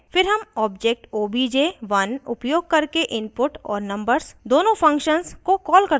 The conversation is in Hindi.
फिर हम object obj1 उपयोग करके input और numbers दोनों functions को कॉल करते हैं